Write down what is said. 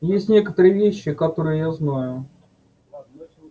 есть некоторые вещи которые я знаю